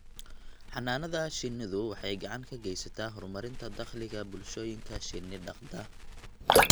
Xannaanada shinnidu waxay gacan ka geysataa horumarinta dakhliga bulshooyinka shinni dhaqda.